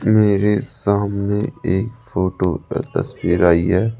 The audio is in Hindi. मेरे सामने एक फोटो का तस्वीर आई है।